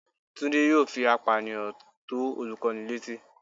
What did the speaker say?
Tunde yóò fí apániyan to olukọni letí